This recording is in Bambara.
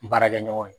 N baarakɛ ɲɔgɔnw